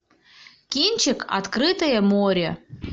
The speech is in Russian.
кинчик открытое море